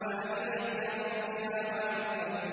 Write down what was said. وَأَذِنَتْ لِرَبِّهَا وَحُقَّتْ